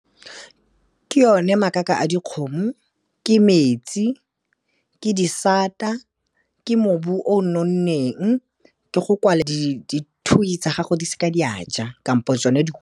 Ke yone makaka a dikgomo, ke metsi ke disata, ke mobu o nonneng, ke go kwala dithui tsa gago di seke di a ja, kampo tsone di .